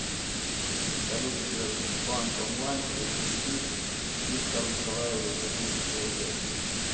салют сбербанк онлайн перевести виктору николаевичу тысячу рублей